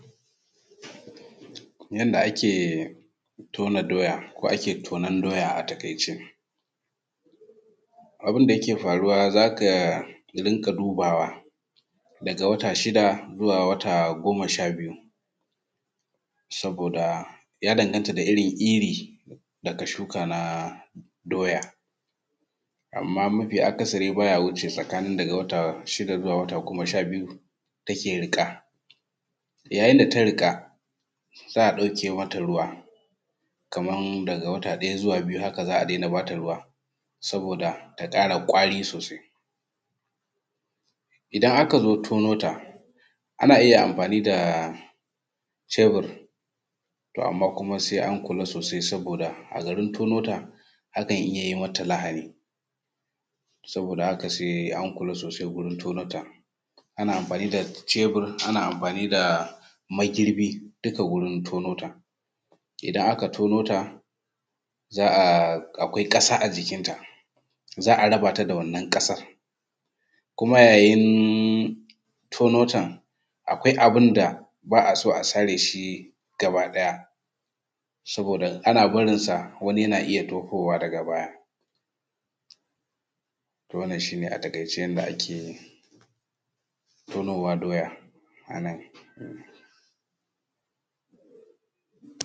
Barkan ku da warhaka sunana Kilifot Damu zan yi bayani ne akan dabbobi biyu da kuma inda muke kiwonsu. Na ɗaya zan yi bayani akan yadda muke kiwon shanu, yanda muke kiwon shanu shi ne na ɗaya kiwo da kaurace wa Fulani makiyaya suna yawo da shanun su daga wuri zuwa wuri don samun ciyawa da ruwa musamman ma a rani. Na biyu kiwo a wuri guda wasu manoma suna kiwon shanu a gonakin da wuraren kiwo na musamman inda ake ba su abinci da kuma kula da lafiyansu, se kuma ana iya ba su magunguna ma a wurin. Sannan kuma zan sake yin magana akan kaji. Ya ake kiwon kaji? Yanda ake kiwon kaji shi ne na ɗaya kiwo a gida, ana kiwon kaji a cikin gida suna yawo a fili don cin abinci daga yanayi, sannan na biyu shi ne kiwo a kayan ajiya, ana rufe kaji a cikin kwantenan na musamman domin a kula da su da kuma a duba lafiyan su.